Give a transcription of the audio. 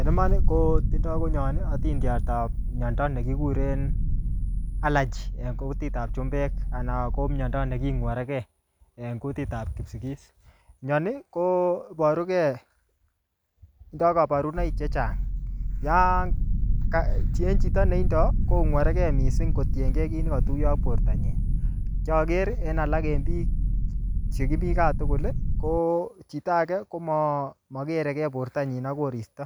En iman, ko tindoi konyon atindiotap miondo ne kikuren allergy en kukitab chumbek, anan ko miondo ne king'warege en kutitab Kipsigis. Mioni koboruge. Tindoi kabarunoik chechang. Yankacheng chito ne tindoi, kongwaregei missing kotienkei kiy ne katuyo ak borto nyi. Kiaker en alak en biik che kimii gaa tugul, ko chito age ko ma-makereke borto nyi ak koristo.